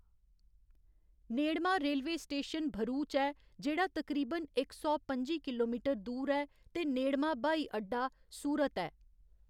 नेड़मा railway station Bharuch ऐ जेह्‌‌ड़ा तकरीबन इक सौ पं'जी किलोमीटर दूर ऐ ते नेड़मा ब्हाई अड्डा सूरत ऐ।